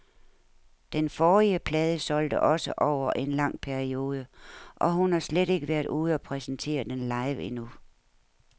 Den forrige plade solgte også over en lang periode, og hun har slet ikke været ude og præsentere den live endnu.